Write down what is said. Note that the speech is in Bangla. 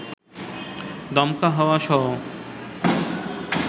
দমকা হাওয়াসহ